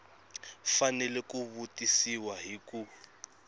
fanele ku tivisiwa hi ku